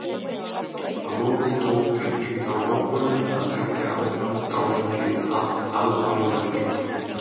Að lokum tók ég því þá ákvörðun að leggja áfengið alfarið á hilluna.